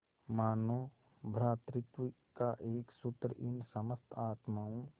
मानों भ्रातृत्व का एक सूत्र इन समस्त आत्माओं